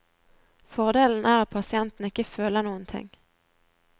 Fordelen er at pasienten ikke føler noen ting.